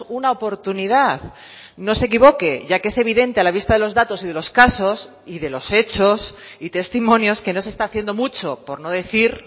una oportunidad no se equivoque ya que es evidente a la vista de los datos y de los casos y de los hechos y testimonios que no se está haciendo mucho por no decir